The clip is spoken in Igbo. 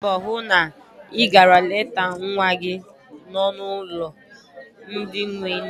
Gbaa mbọ hụ na ị gara leta nwa gị no n'ụlọ ndị enwe nne.